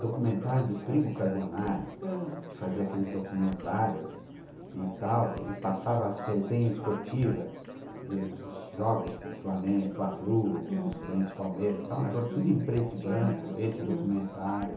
documentário do Primo Carbonari, aham, que fazia aqueles documentários e tal, e passava as resenhas esportivas do dos jogos de Flamengo, Fla-Flu, uhum, Corinthians-Palmeiras e tal, um negócio tudo em preto e branco, esse documentário.